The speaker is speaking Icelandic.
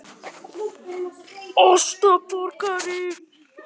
Það gleður hana að hann skuli vera farinn að hugsa á þessum nótum.